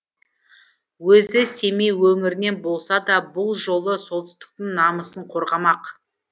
өзі семей өңірінен болса да бұл жолы солтүстіктің намысын қорғамақ